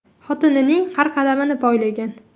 Xotinining har qadamini poylagan.